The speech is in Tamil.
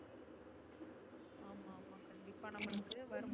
இப்ப நம்மளுக்கு